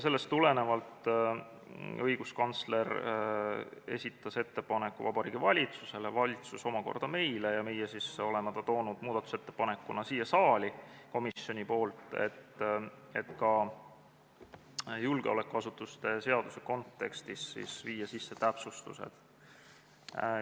Sellest tulenevalt esitas õiguskantsler ettepaneku Vabariigi Valitsusele, valitsus omakorda meile ja meie oleme ta toonud muudatusettepanekuna siia saali komisjonist, et ka julgeolekuasutuste seaduse kontekstis viia sisse täpsustused.